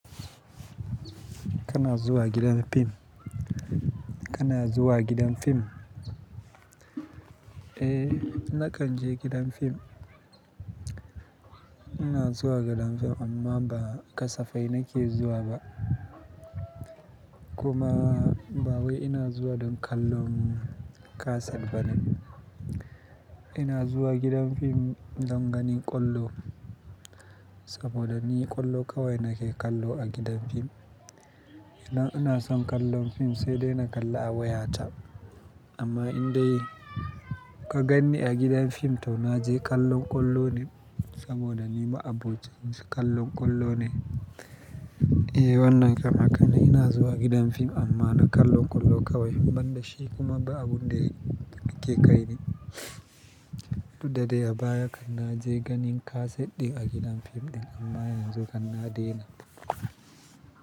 Kana zuwa gidan fim? Kana zuwa gidan fim? Eh, na kan je gidan fim. Ina zuwa gidan fim amma ba kasafai nake zuwa ba. Kuma ba wai ina zuwa don kallon kaset bane. Ina zuwa gidan fim don ganin ƙwallo saboda ni ƙwallo kawai nake kallo a gidan fim. Idan ina son kallon fim sai dai na kalla a wayata. Amma in dai ka ganni a gidan fim to na je kallon ƙwallonin saboda ni ma abun da nake kallon ƙwallo ne. Eh wannan kam hakane ina zuwa gidan fim amma na kallo ƙwallo kawai ban da shi kuma ba abun da yake ƙaini. Da dai a baya kai na je ganin kaset ɗin a gidan fim ɗin amma yanzu hanna dai na.